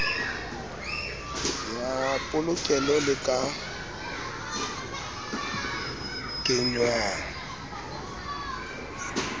ya polokelo le ka kenngwang